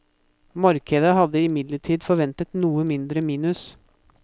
Markedet hadde imidlertid forventet noe mindre minus.